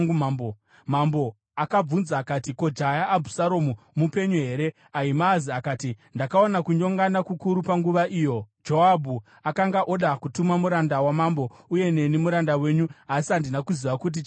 Mambo akabvunza akati, “Ko, jaya Abhusaromu mupenyu here?” Ahimaazi akati, “Ndakaona kunyongana kukuru panguva iyo Joabhu akanga oda kutuma muranda wamambo uye neni, muranda wenyu, asi handina kuziva kuti chaiva chii.”